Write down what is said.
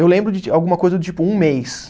Eu lembro de alguma coisa do tipo um mês.